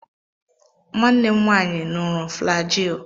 Nwanne m nwanyi ṅụrụ flajil.